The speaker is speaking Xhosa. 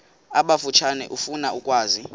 abatsha efuna ukwazi